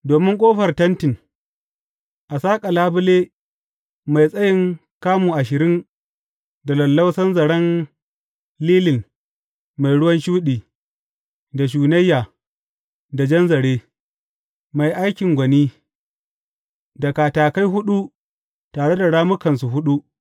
Domin ƙofar tentin, a saƙa labule mai tsayin kamu ashirin da lallausan zaren lilin mai ruwan shuɗi, da shunayya, da jan zare, mai aikin gwani, da katakai huɗu tare da rammukansu huɗu.